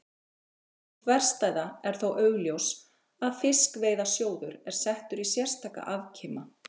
Sú þverstæða er þó augljós að Fiskveiðasjóður er settur í sérstaka afkima.